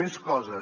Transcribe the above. més coses